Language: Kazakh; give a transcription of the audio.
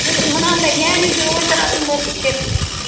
біз мынандай нән үйде отыратын болдық деп